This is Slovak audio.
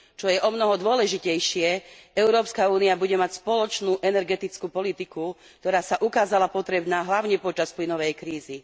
Čo je omnoho dôležitejšie, Európska únia bude mať spoločnú energetickú politiku, ktorá sa ukázala potrebná hlavne počas plynovej krízy.